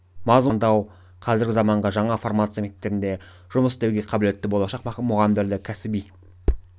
мазмұны мен құрылымын талдау қазіргі заманғы жаңа формация мектептерінде жұмыс істеуге қабілетті болашақ мұғалімдерді кәсіби